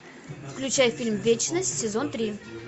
включай фильм вечность сезон три